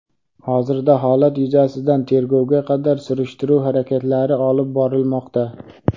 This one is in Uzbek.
Hozirda holat yuzasidan tergovga qadar surishtiruv harakatlari olib borilmoqda.